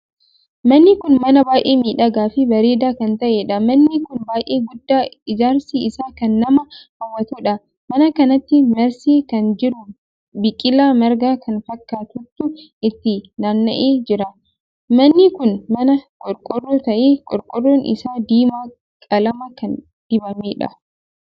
Manni kun mana baay'ee miidhagaa fi bareedaa kan taheedha. manni kun baay'ee guddaa ijaarsi isaa kan nama hawwatuudha. mana kanatti marsee kan jiru biqilaa margaa kan fakkaatutu itti naanna'ee jira. manni kun mana qorqorroo tahee qorqorroon isaa diimaa qalama kan dibameedha.